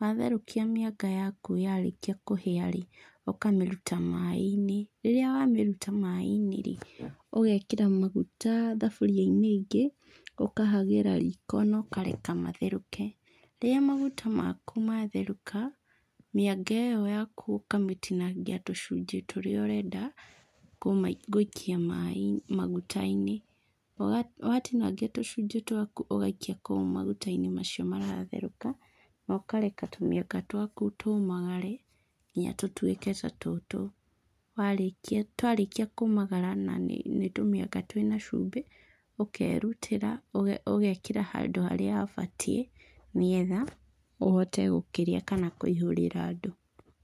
Watherũkia maĩnga yaku yarĩkia kũhĩa-rĩ, ũkamĩruta maĩ-inĩ. Rĩrĩa wamĩruta maĩ-inĩ rĩ, ũgekĩra maguta thaburia-inĩ ĩngĩ, ũkahagĩra riko na ũkareka matherũke. Rĩrĩa maguta maku matherũka, mĩanga ĩyo yaku ũkamĩtinangia tũcunjĩ tũrĩa ũrenda gũikia maĩ maguta-inĩ. Watinangia tũcunjĩ twaku ũgaikia kũu maguta-inĩ macio maratherũk,a na ũkareka tũmĩanga twaku tũmagare kinya tũtuĩke ta tũtũ. Warĩkia twarĩkia kũmagara na nĩ tũmĩanga twĩna cumbĩ, ũkerutĩra ũgekĩra handũ harĩa habatiĩ nĩgetha ũhote gũkĩrĩa kana kũihũrĩra andũ.